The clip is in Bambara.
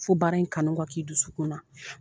Fo bara in kanu ka kɛ i dusukun na.